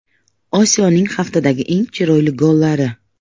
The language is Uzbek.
Osiyoning haftadagi eng chiroyli gollari.